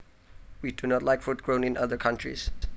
We do not like fruit grown in other countries